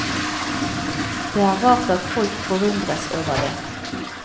Det er rart at folk forundres over det.